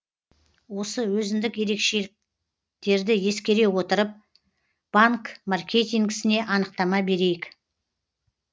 осы өзіндік ерекшеліктерді ескере отырып банк маркетингісіне анықтама берейік